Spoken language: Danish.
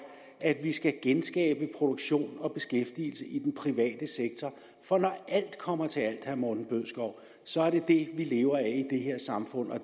at vi skal genskabe produktion og beskæftigelse i den private sektor for når alt kommer til herre morten bødskov så er det det vi lever af i det her samfund